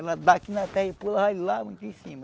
Ela dá aqui na terra e pula ali lá muito em cima.